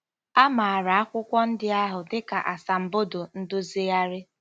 A maara akwụkwọ ndị ahụ dị ka Asambodo Ndozigharị.